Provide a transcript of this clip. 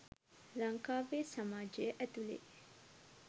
ලංකාවේ සමාජය ඇතුළේ.